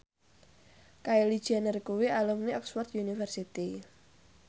Kylie Jenner kuwi alumni Oxford university